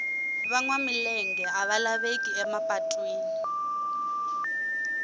va nwa milenge a va laveki ema patwini